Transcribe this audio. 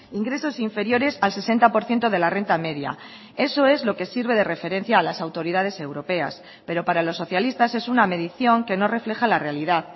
ingresos inferiores al sesenta por ciento de la renta media eso es lo que sirve de referencia a las autoridades europeas pero para los socialistas es una medición que no refleja la realidad